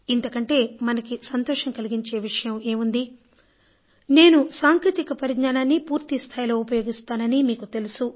ఇంతకంటే మనకి సంతోషం కలిగించే విషయం ఏముంది నేను సాంకేతిక పరిజ్ఞానాన్ని పూర్తిస్థాయిలో ఉపయోగిస్తానని మీకు తెలుసు